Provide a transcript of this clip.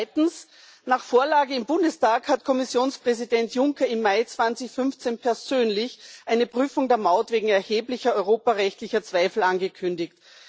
Zweitens Nach der Vorlage im Bundestag hat Kommissionspräsident Juncker im Mai 2015 persönlich eine Prüfung der Maut wegen erheblicher europarechtlicher Zweifel angekündigt.